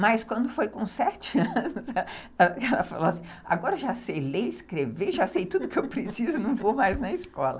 Mas quando foi com sete anos, ela falou assim, agora já sei ler, escrever, já sei tudo o que eu preciso, não vou mais na escola.